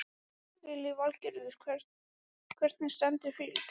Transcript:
Lillý Valgerður: Hvernig stendur fyrirtækið?